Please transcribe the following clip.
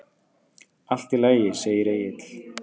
Allt í lagi, segir Egill.